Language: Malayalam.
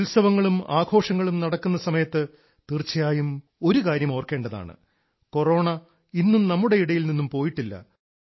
ഉത്സവങ്ങളും ആഘോഷങ്ങളും നടക്കുന്ന സമയത്ത് തീർച്ചയായും ഒരുകാര്യം ഓർക്കേണ്ടതാണ് കൊറോണ ഇന്നും നമ്മുടെ ഇടയിൽ നിന്നും പോയിട്ടില്ല